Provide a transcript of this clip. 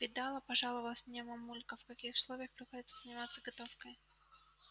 видала пожаловалась мне мамулька в каких условиях приходится заниматься готовкой